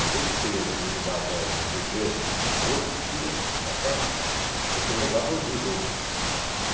Em vez de você ia vê ir no bar para ver o jogo, que não tinha, não passava, você ia no bar para ouvir o jogo.